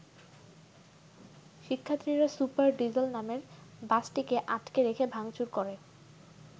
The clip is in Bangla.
শিক্ষার্থীরা সুপার ডিজেল নামের বাসটিকে আটকে রেখে ভাঙচুর করে।